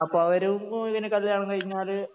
അപ്പോ അവരും കല്യാണം കഴിഞ്ഞാല്